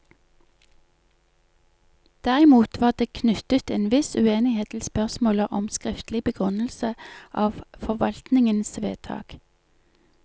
Derimot var det knyttet en viss uenighet til spørsmålet om skriftlig begrunnelse av forvaltningens vedtak.